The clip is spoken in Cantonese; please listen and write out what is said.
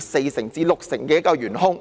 四成至六成的元兇。